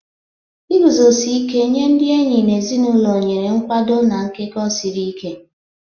Iguzosi ike nye ndị enyi na ezinụlọ nyere nkwado na nkekọ siri ike.